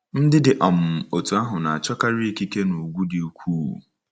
Ndị dị um otú ahụ na-achọkarị ikike na ùgwù di ukwuu.